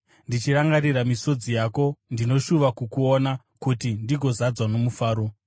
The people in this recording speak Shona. Ndichirangarira misodzi yako, ndinoshuva kukuona, kuti ndigozadzwa nomufaro.